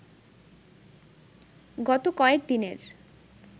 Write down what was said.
গত কয়েক দিনের